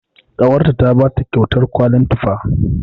Ƙawarta ta bata kyautar kwalin tufa.